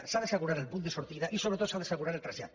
s’ha d’assegurar el punt de sortida i sobretot s’ha d’assegurar el trasllat